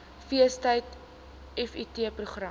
feestyd vft program